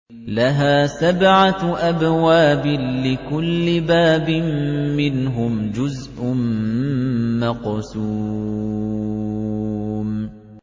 لَهَا سَبْعَةُ أَبْوَابٍ لِّكُلِّ بَابٍ مِّنْهُمْ جُزْءٌ مَّقْسُومٌ